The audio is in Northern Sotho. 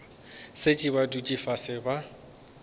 šetše ba dutše fase ba